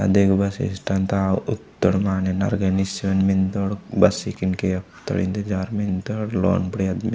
आदे ऊ bus stand ता उत्तोड़ माने नरगाय निश्चय मिन्दोड इक्केन केओत्तोड इंतज़ार मिंत्तोड़ लोन बुड़िया।